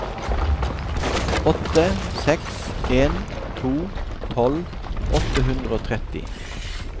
åtte seks en to tolv åtte hundre og tretti